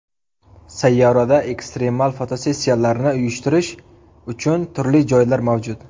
Sayyorada ekstremal fotosessiyalarni uyushtirish uchun turli joylar mavjud.